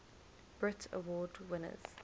brit award winners